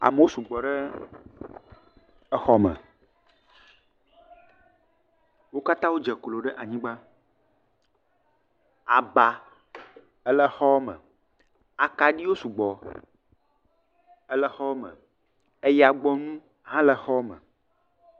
Amewo sugbɔ ɖe exɔ me. Wo katã wodze klo ɖe anyigba. Aba ele xɔ me, akaɖiwo sugbɔ ele xɔ me eyagbɔnu ele xɔ me.